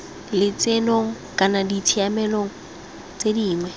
lotsenong kana ditshiamelo tse dingwe